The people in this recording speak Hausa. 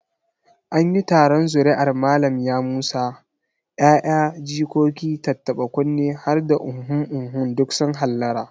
An yi taron zuri'ar Malam Yamusa, 'ya'ya, jikoki, tattaɓa-kunne har da uhumhum duk sun hallara.